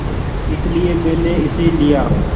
इसलिए मैंने इसे लिया